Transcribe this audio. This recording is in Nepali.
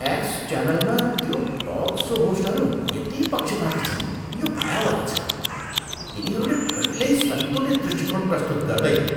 एक्स च्यानलमा त्यो टक सो होस्टहरू यति पक्षपाती छन्, यो भयावह छ। तिनीहरूले कहिल्यै सन्तुलित दृष्टिकोण प्रस्तुत गर्दैनन्।